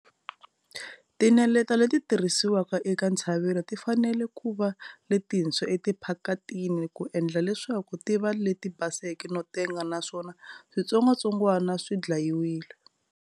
Tineleta leti tirhisiwa eka ntshavelo ti fanele ku va letintshwa etiphakitini ku endla leswaku ti va leti baseke no tenga naswona switsongwatsongwana swi dlayiwile.